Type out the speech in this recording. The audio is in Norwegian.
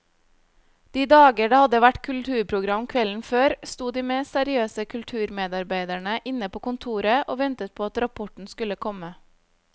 De dager det hadde vært kulturprogram kvelden før, sto de mest seriøse kulturmedarbeidere inne på kontoret og ventet på at rapporten skulle komme.